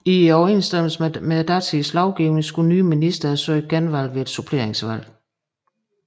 I overensstemmelse med datidens lovgivning skulle nye ministre søge genvalg ved et suppleringsvalg